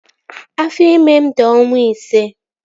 Afọ ime m di ọnwa ise